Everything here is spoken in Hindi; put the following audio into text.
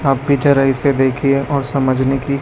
आप भी जरा इसे देखिए और समझने की--